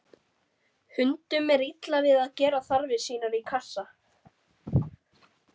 Hundum er illa við að gera þarfir sínar í kassa.